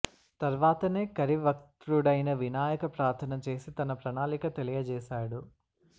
తర్వాతనే కరి వక్త్రుడైన వినాయక ప్రార్ధనచేసి తన ప్రణాళిక తెలియ జేశాడు